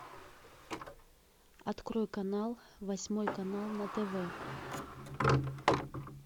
открой канал восьмой канал на тв